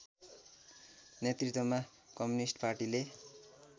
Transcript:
नेतृत्वमा कम्युनिष्ट पाटीले